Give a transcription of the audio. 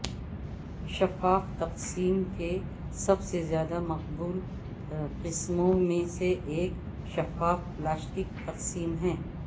شفاف تقسیم کے سب سے زیادہ مقبول قسموں میں سے ایک شفاف پلاسٹک تقسیم ہے